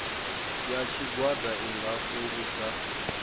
ya tshigwada i nga fhungudza